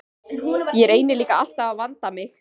Ég reyni líka alltaf að vanda mig.